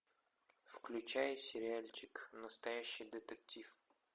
включай сериальчик настоящий детектив